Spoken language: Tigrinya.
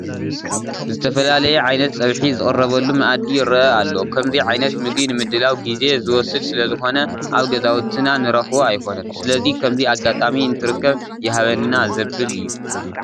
ዝተፈላለየ ዓይነት ፀብሒ ዝቐረበሉ መኣዲ ይርአ ኣሎ፡፡ ከምዚ ዓይነት ምግቢ ንምድላዉ ግዜ ዝወስድ ስለዝኾን ኣብ ገዛውትና ንረኽቦ ኣይኮነን፡፡ ስለዚ ከምዚ ኣጋጣሚ እንትርከብ ይሃበና ዘብል እዩ፡፡